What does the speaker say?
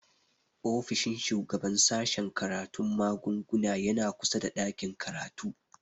Ofishin shugaban sashen karatun magunguna yana kusa da ɗakin karatu